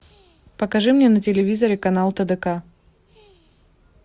покажи мне на телевизоре канал тдк